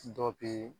Dɔ bɛ